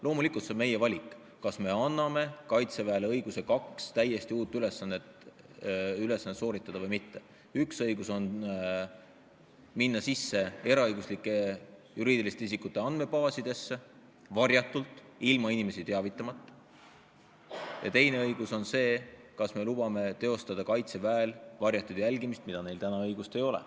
Loomulikult, see on meie valik, kas me anname Kaitseväele õiguse täita kahte täiesti uut ülesannet või mitte: esiteks, õigus minna eraõiguslike juriidiliste isikute andmebaasidesse, teha seda varjatult, ilma inimesi teavitamata, ja teiseks, kas me lubame Kaitseväel teha varjatud jälgimist, milleks tal praegu õigust ei ole.